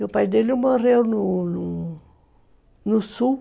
E o pai dele morreu no no Sul.